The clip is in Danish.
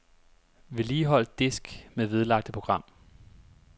Vedligehold disk med vedlagte program.